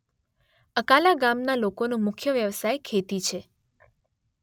અકાલા ગામના લોકોનો મુખ્ય વ્યવસાય ખેતી છે